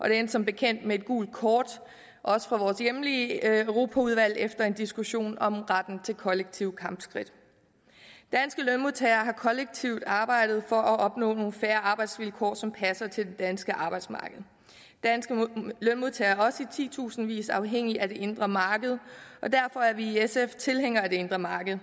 endte som bekendt med et gult kort til også fra vores hjemlige europaudvalg efter en diskussion om retten til kollektive kampskridt danske lønmodtagere har kollektivt arbejdet for at opnå nogle fair arbejdsvilkår som passer til det danske arbejdsmarked danske lønmodtagere er også i titusindvis afhængige af det indre marked og derfor er vi i sf tilhængere af det indre marked